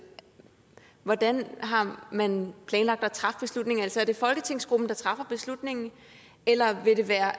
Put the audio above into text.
hvordan har man planlagt at træffe beslutningen altså er det folketingsgruppen der træffer beslutningen eller vil det være